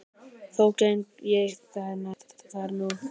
Þó geng ég þær nú